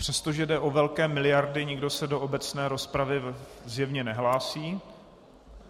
Přestože jde o velké miliardy, nikdo se do obecné rozpravy zjevně nehlásí.